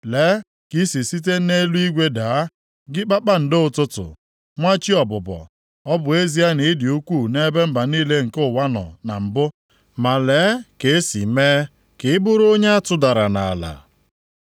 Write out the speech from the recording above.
Lee ka i si site nʼeluigwe daa, gị kpakpando ụtụtụ, nwa chi ọbụbọ. Ọ bụ ezie na ị dị ukwuu nʼebe mba niile nke ụwa nọ na mbụ, ma lee ka e si mee ka ị bụrụ onye a tụdara nʼala.